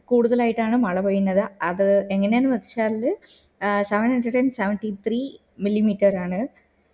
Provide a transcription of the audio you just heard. കൂടുതളായിട്ടാണ് മള പെയ്യുന്നതു അത് എങ്ങനാ ന്നു വച്ചാല് ആഹ് seven hundred and seventy three milli meter ആണ്